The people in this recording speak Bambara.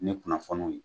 Ni kunnafoniw